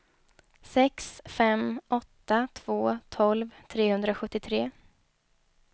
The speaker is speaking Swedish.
sex fem åtta två tolv trehundrasjuttiotre